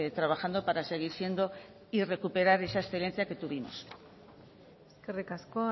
trabajando para seguir siendo y recuperar esa excelencia que tuvimos eskerrik asko